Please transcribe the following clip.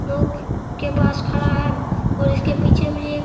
नाव के पास खड़ा है और इसके पीछे में एक --